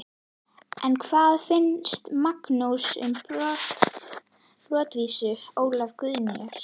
En hvað finnst Magnúsi um brottvísun Ólafar Guðnýjar?